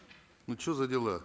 ну что за дела